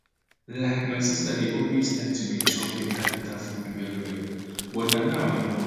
like my sister dey always like to dey chop beta beta food well well but na now i know why